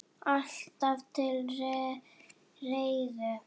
Alltaf til reiðu!